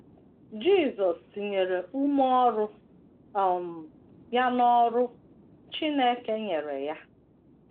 Jisọs tinyere ume ọrụ um ya n’ọrụ Chineke nyere ya